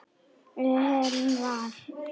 Við höfum val.